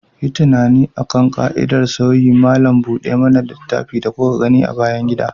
Yi tunani akan ƙa'idar sauyin malam buɗe mana littafi da kuka gani a bayan gida.